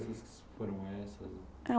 foram essas?